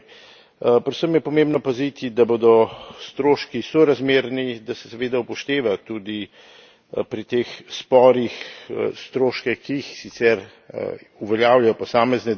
Predvsem je pomembno paziti, da bodo stroški sorazmerni, da se seveda upošteva tudi pri teh sporih stroške, ki jih sicer uveljavljajo posamezne države.